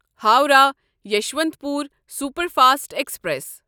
Howrah Yesvantpur superfast express